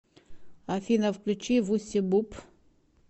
афина включи вусси буп